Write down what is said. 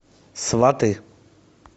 сваты